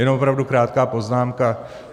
Jen opravdu krátká poznámka.